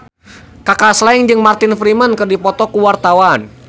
Kaka Slank jeung Martin Freeman keur dipoto ku wartawan